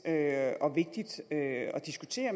at diskutere